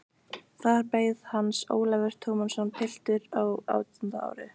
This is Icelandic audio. Þar beið hans Ólafur Tómasson, piltur á átjánda ári.